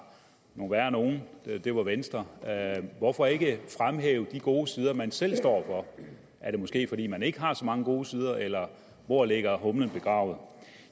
nogle værre nogle og det var venstre hvorfor ikke fremhæve de gode sider man selv står for er det måske fordi man ikke har så mange gode sider eller hvor ligger hunden begravet